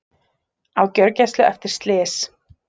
Á gjörgæslu eftir slys